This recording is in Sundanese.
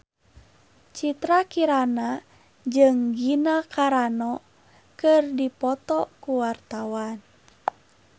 Citra Kirana jeung Gina Carano keur dipoto ku wartawan